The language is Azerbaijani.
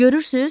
Görürsüz?